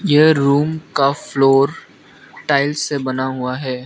ये रुम का floor tiles से बना हुआ है।